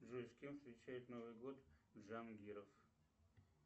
джой с кем встречает новый год жан гиров